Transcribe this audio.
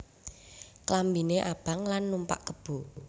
Klambiné abang lan numpak kebo